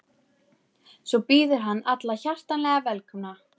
Svo býður hann alla hjartanlega velkomna.